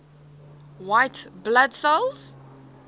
white blood cells